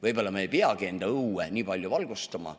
Võib-olla ei peagi enda õue nii palju valgustama.